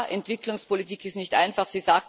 Ja Entwicklungspolitik ist nicht einfach.